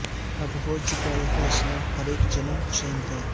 اب ہو چکا یہ فیصلہ ہر اک جنم حسین کا